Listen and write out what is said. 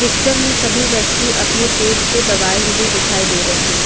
Picture में सभी व्यक्ति अपने पेट को दबाये हुए दिखाई रहे हैं।